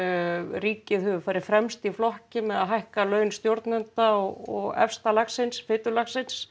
ríkið hefur farið fremst í flokki með því að hækka laun stjórnenda og efsta lagsins